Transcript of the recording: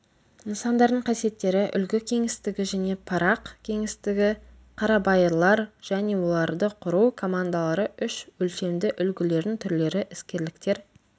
нысандардың қасиеттері үлгі кеңістігі және парақ кеңістігі қарабайырлар және оларды құру командалары үш өлшемді үлгілердің түрлері іскерліктер